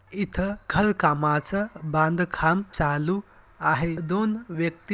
इथ खल कामच बांधकाम चालू आहे. दोन व्यक्ति--